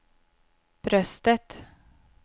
bröstet